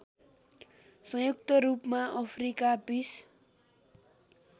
संयुक्तरूपमा Africa piece